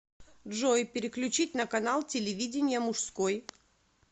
джой переключить на канал телевидения мужской